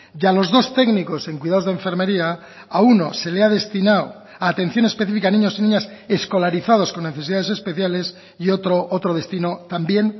y a los dos técnicos en cuidados de enfermería a uno se le ha destinado a atención específica a niños y niñas escolarizados con necesidades especiales y otro otro destino también